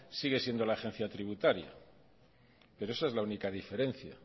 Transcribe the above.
sigue siendo la agencia tributaria pero esa es la única diferencia